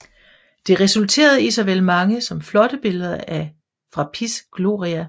Det resulterede i såvel mange som flotte billeder fra Piz Gloria